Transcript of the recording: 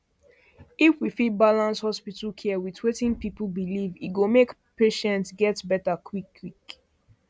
if we fit balance hospital balance hospital care with wetin people believe e go make patients get better quick